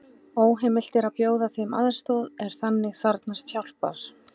Óheimilt er að bjóða þeim aðstoð er þannig þarfnast hjálpar.